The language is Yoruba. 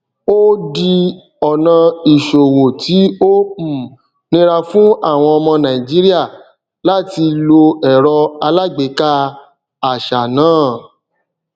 ó di ọnà ìṣòwò tí ó um nira fún àwọn ọmọ nàìjíríà láti lo ẹrọ alágbèéká àṣà náà